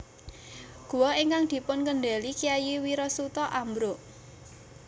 Guwa ingkang dipunkèndeli Kyai Wirasuta ambruk